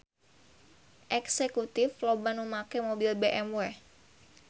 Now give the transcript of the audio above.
Eksekutif loba nu make mobil BMW